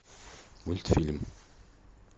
мультфильм